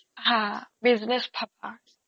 হা business ভাবা